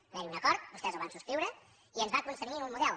va haver hi un acord vostès el van subscriure i ens va constrènyer a un model